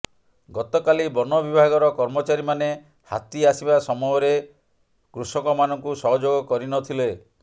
ଗତକାଲି ବନ ବିଭାଗର କର୍ମଚାରୀମାନେ ହାତୀ ଆସିବା ସମୟରେ କୃଷକମାନଙ୍କୁ ସହଯୋଗ କରିନଥିଲେ